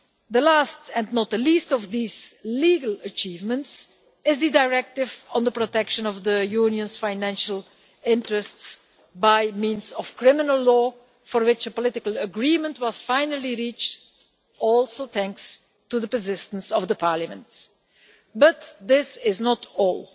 The last and not the least of these legal achievements is the directive on the protection of the Union's financial interests by means of criminal law, for which a political agreement was finally reached, also thanks to the persistence of the Parliament. But this is not all.